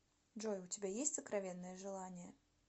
джой у тебя есть сокровенное желание